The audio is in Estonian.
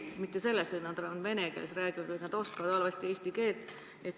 Asi pole mitte selles, et nad vene keeles räägivad, vaid selles, et nad oskavad eesti keelt halvasti.